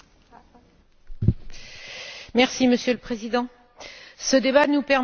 Monsieur le Président, ce débat nous permet de faire un bilan du programme de Stockholm.